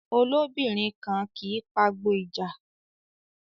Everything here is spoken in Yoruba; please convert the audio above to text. Olóbìnrin kan kì í pagbo ìja